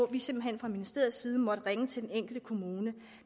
vi simpelt hen fra ministeriets side måtte ringe til den enkelte kommune